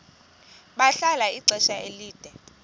bahlala ixesha elide